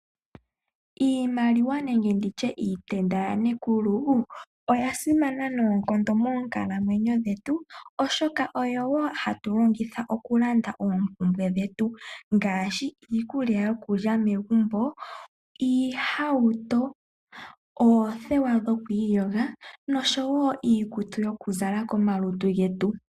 Iimaliwa nenge nditye iitenda yanekulu, oya simana noonkondo moonkalamwenyo dhetu oshoka oyo wo hatu longitha oku landa oompumbwe dhetu ngaashi iikulya yokulya megumbo, oohauto, oothewa dhoku iyoga noshowo iikutu yoku zala komalutu getu.